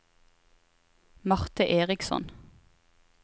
Marte Eriksson